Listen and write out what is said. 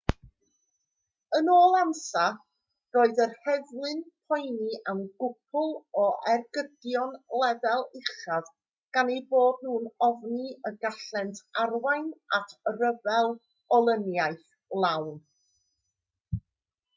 yn ôl ansa roedd yr heddlu'n poeni am gwpl o ergydion lefel uchaf gan eu bod nhw'n ofni y gallent arwain at ryfel olyniaeth lawn